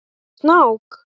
Sérðu snák?